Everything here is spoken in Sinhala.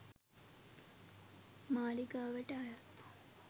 මාලිගාවට අයත්